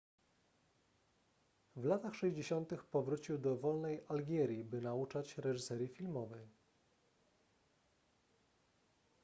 w latach 60 powrócił do wolnej algierii by nauczać reżyserii filmowej